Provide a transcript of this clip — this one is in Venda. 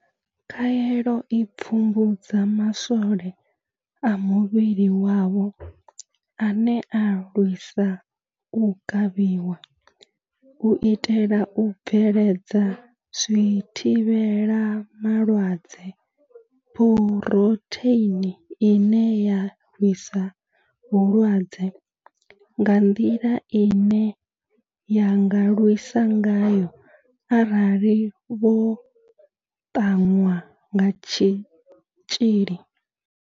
Khaelo i pfumbudza ma swole a muvhili wavho ane a lwisa u kavhiwa, u itela u bveledza zwithivhela malwadze phurotheini ine ya lwisa vhulwadze nga nḓila ine ya nga lwisa ngayo arali vho ṱanwa kha tshitzhili.